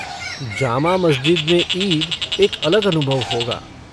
जामा मस्जिद में ईद एक अलग अनुभव होगा।